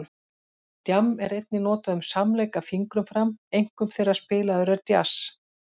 Djamm er einnig notað um samleik af fingrum fram, einkum þegar spilaður er djass.